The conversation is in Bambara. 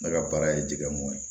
Ne ka baara ye jɛgɛ mɔn ye